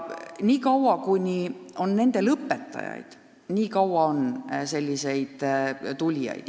Nii kaua, kuni jätkub õpetajaid, nii kaua on ka tulijaid.